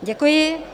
Děkuji.